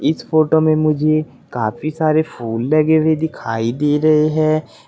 इस फोटो में मुझे काफी सारे फूल लगे हुए दिखाई दे रहे हैं।